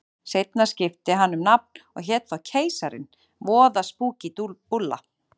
Seinna skipti hann um nafn og hét þá Keisarinn, voða spúkí búlla.